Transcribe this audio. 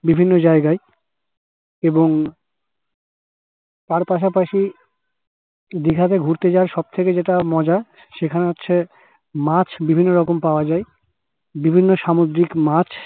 বিভিন্ন জায়গায় এবং তার পাশাপাশি দিঘা তে ঘুরতে যাওয়ার সব থেকে যেটা মজার সেটা হচ্ছে মাছ বিভিন্ন রকম পাওয়া যাই বিভিন্ন সামুদ্রিক মাছ